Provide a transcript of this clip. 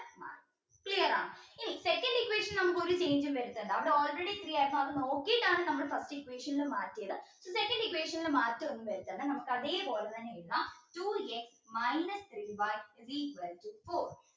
clear ആണോ ഇനി second equation നമുക്ക് ഒരു change ഉം വരുത്തണ്ട അവിടെ already three ആയിരുന്നു അത് നോക്കീട്ടാണ് നമ്മൾ first equation മാറ്റിയത് so second equation ൽ മാറ്റം ഒന്ന് വരുത്തണ്ട അത് അതെ പോലെ തന്നെ എഴുതാം two x minus three y is equal to four